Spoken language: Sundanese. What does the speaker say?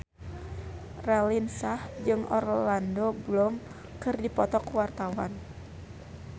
Raline Shah jeung Orlando Bloom keur dipoto ku wartawan